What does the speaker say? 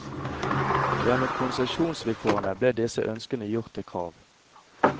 Gjennom konsesjonsvilkårene ble disse ønskene gjort til krav.